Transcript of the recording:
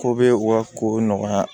Ko be u ka kow nɔgɔya